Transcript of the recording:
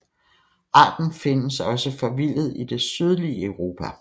Arten findes også forvildet i det sydlige Europa